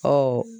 Ɔ